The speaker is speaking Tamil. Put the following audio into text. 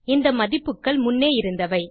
இந்த மதிப்புகள் முன்னே இருந்தவை